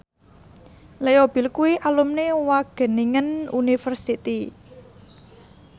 Leo Bill kuwi alumni Wageningen University